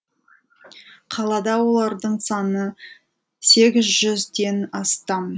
қалада олардың саны сегіз жүзден астам